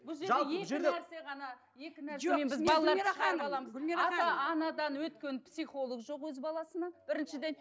ата анадан өткен психолог жоқ өз баласына біріншіден